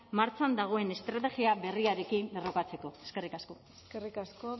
martxan dagoen estrategia berriarekin lerrokatzeko eskerrik asko eskerrik asko